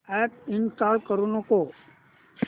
app install करू नको